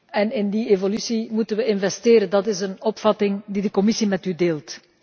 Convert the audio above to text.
En in die evolutie moeten we investeren, dat is een opvatting die de Commissie met u deelt.